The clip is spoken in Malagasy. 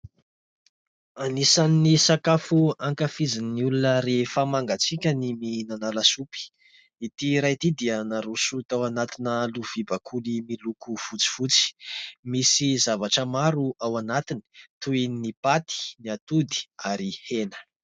Anisan'ny sakafo ankafizin'ny olona rehefa mangatsiaka ny mihinana lasopy. Ity iray ity dia naroso tao anatina lovia bakoly miloko fotsifotsy, misy zavatra maro ao anatiny toy ny paty, ny atody ary hena.